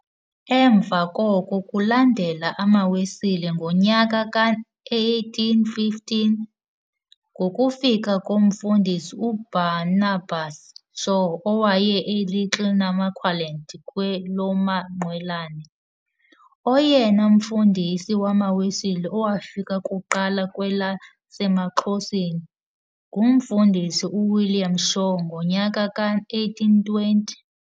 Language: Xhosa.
Emva koko kulandele amaWesile ngonyaka ka-1815, ngokufika komfundisi uBarnabas Shaw owaya e-Little Namaqualand kwelamaQwelane. Oyena mfundisi wamaWesile owafika kuqala kwelasemaXhoseni, ngumFundisi u-William Shaw ngonyaka ka-1820.